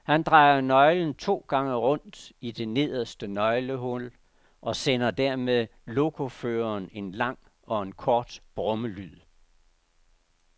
Han drejer nøglen to gange rundt i det nederste nøglehul og sender dermed lokoføreren en lang og en kort brummelyd.